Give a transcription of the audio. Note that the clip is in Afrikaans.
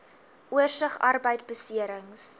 oorsig arbeidbeserings